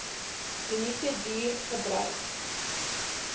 minute duur gebruik